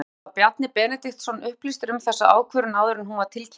En var Bjarni Benediktsson upplýstur um þessa ákvörðun áður en hún var tilkynnt?